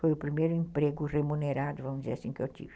Foi o primeiro emprego remunerado, vamos dizer assim, que eu tive.